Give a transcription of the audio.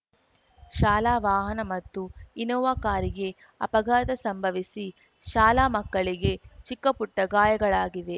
ಶಾಲಾ ವಾಹನ ಮತ್ತು ಇನ್ನೋವಾ ಕಾರಿಗೆ ಅಪಘಾತ ಸಂಭವಿಸಿ ಶಾಲಾ ಮಕ್ಕಳಿಗೆ ಚಿಕ್ಕಪುಟ್ಟಗಾಯಗಳಾಗಿವೆ